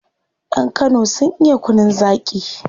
Yan kano sun iya kunun zaki